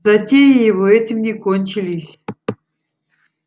затеи его этим не кончились